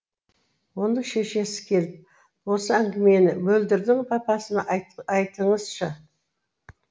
оның шешесі келіп осы әңгімені мөлдірдің папасына айтыңызшы